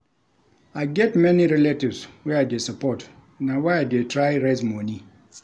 I get many relatives wey I dey support na why I dey try raise moni.